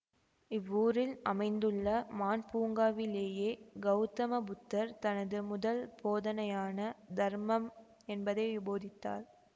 இவ்வூரில் அமைந்துள்ள மான் பூங்காவிலேயே கௌதம புத்தர் தனது முதல் போதனையான தர்மம் என்பதை போதித்தார்